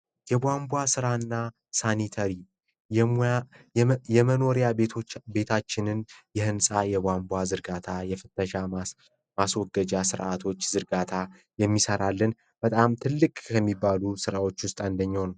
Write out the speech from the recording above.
ቧንቧ ስራና ሳኒታሪ የሙያ የመኖሪያ ቤቶች ቤታችንን የህንጻ የቋንቋ ዝርጋታ የፍተሻ ማስወገጃቶች ዝርጋታ የሚሰራልን በጣም ትልቅ የሚባሉ ስራዎች ውስጥ አንደኛውን ነዉ